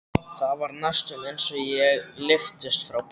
Það var næstum eins og ég lyftist frá bekknum.